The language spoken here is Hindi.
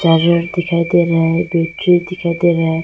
बल्ब दिखाई दे रहा है चेयर दिखाई दे रहा है।